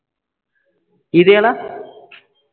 ਕਿਹਦੇ ਵਾਲਾ